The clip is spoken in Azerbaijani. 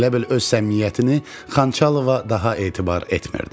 Elə bil öz səmimiyyətini Xançalova daha etibar etmirdi.